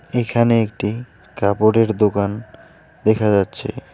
এইখানে একটি কাপড়ের দোকান দেখা যাচ্ছে।